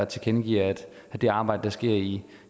tilkendegiver at det arbejde der sker i